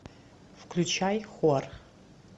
включай хор